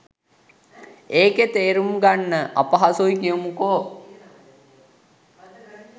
ඒක තේරුම් ගන්න අපහසුයි කියමුකෝ.